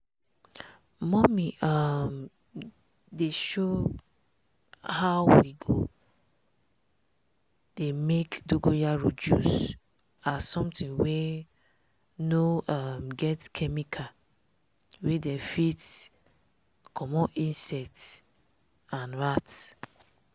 mummy um dey show how we go dey make dongoyaro juice as something wey no um get chemical wey dem fit comot insect and rat.